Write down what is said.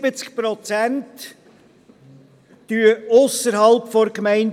71 Prozent pendeln ausserhalb der Gemeinde.